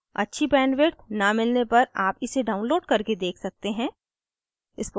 अच्छी bandwidth न मिलने पर आप इसे download करके देख सकते हैं